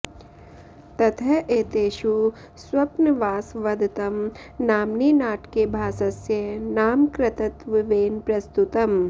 ततः एतेषु स्वप्नवासवदत्तम् नाम्नि नाटके भासस्य नाम कर्तृत्वेन प्रस्तुतम्